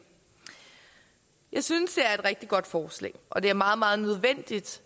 jeg synes det er et rigtig godt forslag og det er meget meget nødvendigt